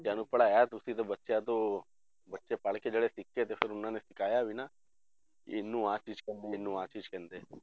ਬੱਚਿਆਂ ਨੂੰ ਪੜ੍ਹਾਇਆ ਤੁਸੀਂ ਤੇ ਬੱਚਿਆਂ ਤੋਂ ਬੱਚੇ ਪੜ੍ਹਕੇ ਜਿਹੜੇ ਸਿੱਖੇ ਤੇ ਫਿਰ ਉਹਨਾਂ ਨੇ ਸਿਖਾਇਆ ਵੀ ਨਾ, ਕਿ ਇਹਨੂੰ ਆਹ ਚੀਜ਼ ਕਹਿੰਦੇ ਇਹਨੂੰ ਆਹ ਚੀਜ਼ ਕਹਿੰਦੇ ਆ